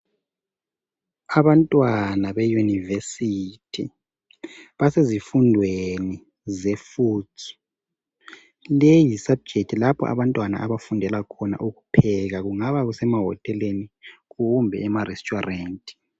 Abantwana beyunivesithi basezifundeni zefudzu leyi yisabhujekithi lapho abantwana abafundela khona ukupheka kungakuse mahoteleni kumbe emaretsuwarenti